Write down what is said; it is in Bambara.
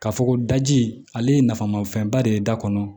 Ka fɔ ko daji ale ye nafa ma fɛnba de ye da kɔnɔ